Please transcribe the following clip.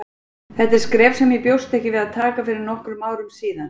Þetta er skref sem ég bjóst ekki við að taka fyrir nokkrum árum síðan.